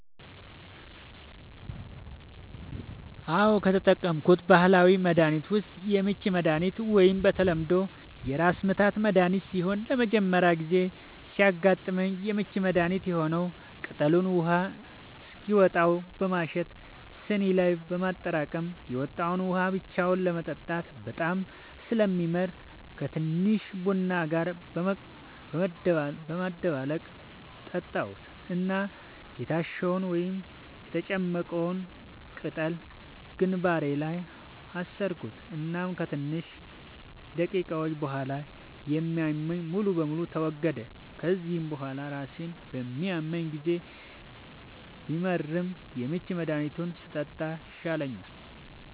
አዎ, ከተጠቀምኩት ባህላዊ መድሀኒት ዉስጥ የምች መድሃኒት ወይም በተለምዶ የራስምታት መድሀኒት ሲሆን ለመጀመሪያ ጊዜ ሲያመኝ የምች መድሀኒት የሆነዉን ቅጠሉን ውሃ እስኪወጣው በማሸት ስኒ ላይ በማጠራቀም የወጣዉን ውሃ ብቻውን ለመጠጣት በጣም ስለሚመር ከቲንሽዬ ቡና ጋር በመደባለቅ ጠጣሁት እና የታሸዉን (የተጨመቀዉን ፈ)ቅጠል ግንባሬ ላይ አሰርኩት እናም ከትንሽ ደቂቃዎች ቡሃላ የሚያመኝ ሙሉ በሙሉ ተወገደ፤ ከዚያ ቡሃላ ራሴን በሚያመኝ ጊዜ ቢመርም የምች መድሃኒቱን ስጠጣ ይሻለኛል።